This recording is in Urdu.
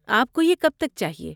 آپ کو یہ کب تک چاہیے؟